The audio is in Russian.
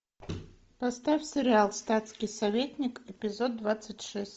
поставь сериал статский советник эпизод двадцать шесть